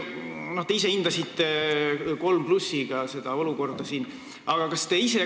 Te hindasite seda olukorda siin hindega kolm pluss.